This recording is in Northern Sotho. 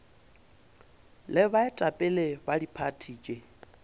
le baetapele ba diphathi tše